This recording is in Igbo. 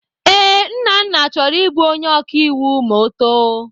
Ee, Nnanna chọrọ ịbụ onye ọkaiwu ma ọ too.